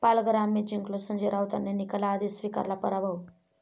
पालघर आम्हीच जिंकलो, संजय राऊतांनी निकालाआधीच स्वीकारला 'पराभव'